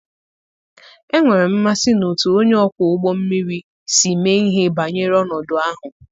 enwere m mmasị n'otú onye ọkwọ ụgbọ mmiri si mee ihe banyere ọnọdụ ahụ.